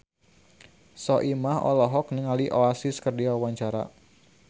Soimah olohok ningali Oasis keur diwawancara